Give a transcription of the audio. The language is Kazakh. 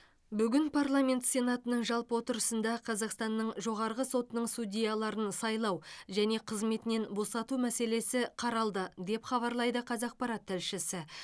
бүгін парламент сенатының жалпы отырысында қазақстанның жоғарғы сотының судьяларын сайлау және қызметінен босату мәселесі қаралды деп хабарлайды қазақпарат тілшісі